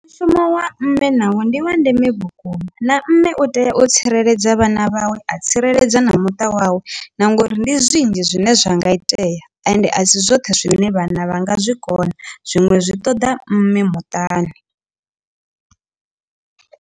Mushumo wa mme nawo ndi wa ndeme vhukuma na mme u tea u tsireledza vhana vhawe a tsireledza na muṱa wawe na ngauri ndi zwinzhi zwine zwa nga itea ende a si zwoṱhe zwine vhana vha nga zwi kona zwiṅwe zwi ṱoda mme muṱani.